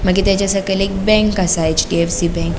मगिर तेजा सकयल एक बँक आसा एचडीएफसी बँक .